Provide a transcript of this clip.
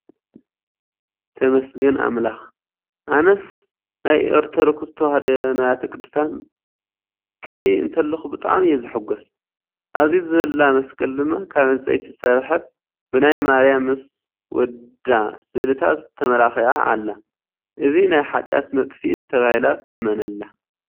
ተመስገን ኣምላክ! ኣነስ ናይ ኦርቶዶክስ ተዋህዶ ነዋያተ ቅዱሳን ክሪኢ እንተለኩ ብጣዕሚ እየ ዝሕጎስ ። ኣብዚ ዘላ መስቀል ድማ ካብ ዕንፀይቲ ዝተሰርሐት ብናይ ማርያም ምስ ወደ ስእሊታት ተማላኪዓኣላ። እዚኣ ናይ ሓጥያት መጥፊት ተባሂላ ትእመነላ ።